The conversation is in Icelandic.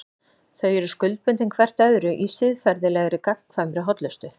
Þau eru skuldbundin hvert öðru í siðferðilegri, gagnkvæmri hollustu.